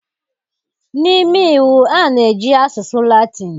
N'ime Iwu, a na-eji asụsụ Latịn.